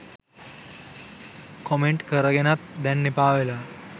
Comment කරගෙනත් දැන් එපා වෙලා.